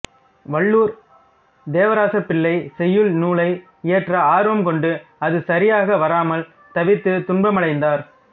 வல்லூர் தேவராசப்பிள்ளை செய்யுள் நூலை இயற்ற ஆர்வம் கொண்டு அது சரியாக வராமல் தவித்து துன்பமடைந்தார்